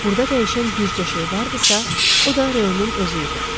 Burda dəyişən bircə şey vardısa, o da Ro-nun özü idi.